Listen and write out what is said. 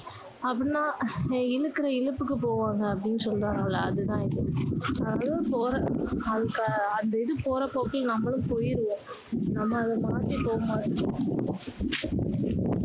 அப்படின்னா இழுக்கிற இழுப்புக்கு போவாங்க அப்படின்னு சொல்றாங்கள்ல அது தான் இது அது போற அந்து இது போற போக்குல நம்மளும் போயிருவோம் நம்ம அதை மாத்தி போக மாட்டோம்